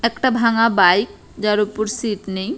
একটা ভাঙা বাইক যার ওপর সিট নেই।